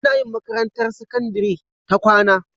Anayin makarantar sakandari ta kwAna